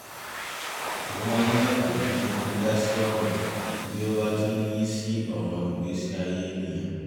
mo máa ń yàgò fún dídá sí ọ̀rọ̀ bí ó bá ti ń yí sí ọ̀rọ̀ ìgbésí ayé ènìyàn